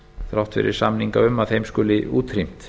þrátt fyrir samninga um að þeim skuli útrýmt